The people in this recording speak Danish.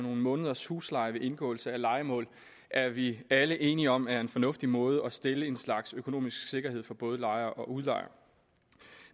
nogle måneders husleje ved indgåelse af lejemål er vi alle enige om er en fornuftig måde at stille en slags økonomisk sikkerhed for både lejere og udlejere